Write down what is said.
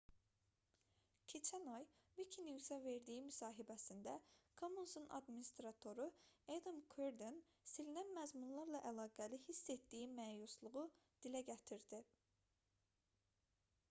keçən ay wikinews-a verdiyi müsahibəsində commons"un adminstratoru adam kuerden silinən məzmunlarla əlaqəli hiss etdiyi məyusluğu dilə gətirdi